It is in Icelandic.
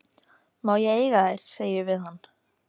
Má ég eiga þær, segi ég við hann.